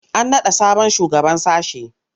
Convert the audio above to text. An naɗa sabon shugaban sashe.